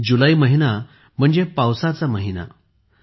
जुलै महिना म्हणचे मान्सूनचा महिना पावसाचा महिना